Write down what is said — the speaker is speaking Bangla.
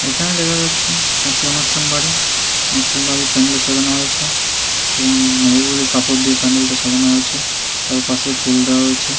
এখানে দেখা যাচ্ছে একটা অনুষ্ঠান বাড়ি অনুষ্ঠান বাড়ির প্যান্ডেল সাজানো হয়েছে এবং নেভি ব্লু কাপড় দিয়ে প্যান্ডেল সাজানো হয়েছে তার পাশেই ফুল দেওয়া রয়েছে ।